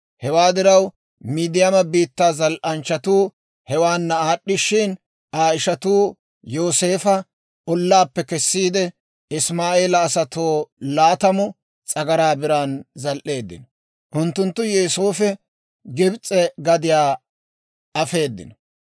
Hewaa diraw Midiyaama biittaa zal"anchchatuu hewaanna aad'd'ishshin, Aa ishatuu Yooseefa ollaappe kessiide, Isimaa'eela asatoo laatamu s'agaraa biraan zal"eeddino. Unttunttu Yooseefa Gibs'e gadiyaa afeeddino.